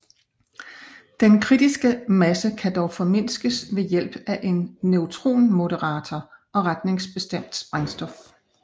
Den kritiske masse kan dog formindskes ved hjælp af en neutronmoderator og retningsbestemt sprængstof